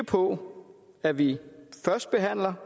på at vi først behandler